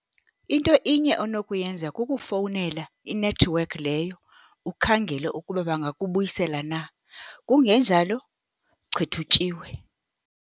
Into inye onokuyenza, kukufowunela inethiwekhi leyo, ukhangele ukuba bangakubuyisela na. Kungenjalo, chitha utyiwe!